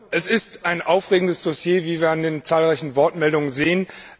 Es ist ein aufregendes Dossier, wie wir an den zahlreichen Wortmeldungen sehen.